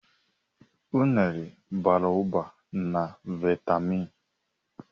Unere bara ụba na vaitamin.